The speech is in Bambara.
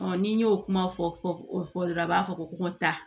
n'i y'o kuma fɔ o fɔ ra dɔrɔn a b'a fɔ ko n ka taa